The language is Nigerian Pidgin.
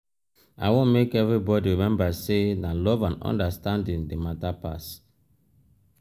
i want make everybodi rememba sey na love and understanding dey mata pass.